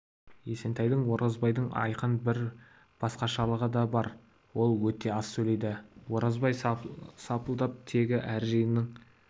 есентайдың оразбайдан айқын бір басқашалығы да бар ол өте аз сөйлейді оразбай сапылдап тегі әр жиынның